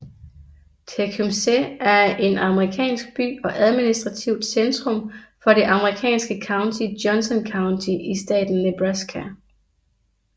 Tecumseh er en amerikansk by og administrativt centrum for det amerikanske county Johnson County i staten Nebraska